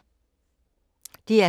DR K